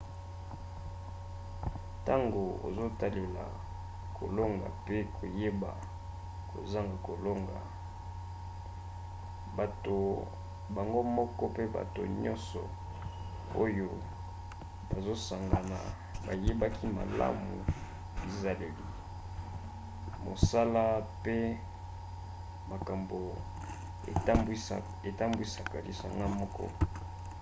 ntango ozotalela kolonga mpe koyeba kozanga kolonga bato bango moko mpe bato nyonso oyo bazosangana bayebaki malamu bizaleli mosala mpe makambo etambwisaka lisanga moko